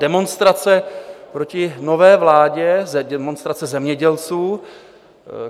Demonstrace proti nové vládě, demonstrace zemědělců.